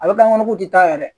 Ale kan ŋɔnɔ k'u tɛ taa yɛrɛ